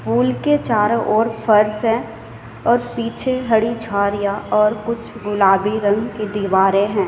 पुल चारों ओर फर्श है और पीछे हड़ी झाड़ियां और कुछ गुलाबी रंग की दीवारें हैं।